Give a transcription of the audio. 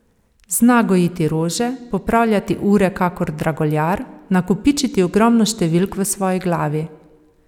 Zna gojiti rože, popravljati ure kakor draguljar, nakopičiti ogromno številk v svoji glavi.